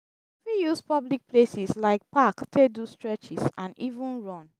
you fit use public places like park take do stretches and even run